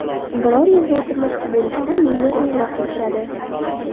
Biror yerda o‘tirmoqchi bo‘lishsa, menga qo‘ng‘iroq qilishadi.